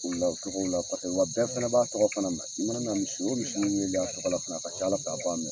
deli la u tɔgɔw la kɔsɛbɛ wa bɛɛ fana b'a tɔgɔ fana mɛn i mana na misi o misi weele a tɔgɔ la fana a ka ca Ala fɛ a b'a mɛn.